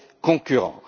concurrents.